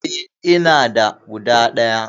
E, ina da guda ɗaya.